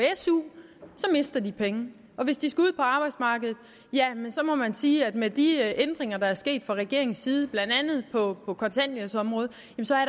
su mister de penge og hvis de skal ud på arbejdsmarkedet må man sige at med de ændringer der er sket fra regeringens side på blandt kontanthjælpsområdet